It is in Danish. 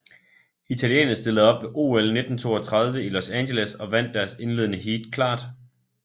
Italienerne stillede op ved OL 1932 i Los Angeles og vandt deres indledende heat klart